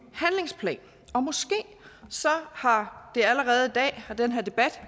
handlingsplan og måske har den her debat